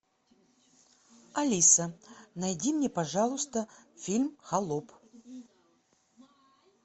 алиса найди мне пожалуйста фильм холоп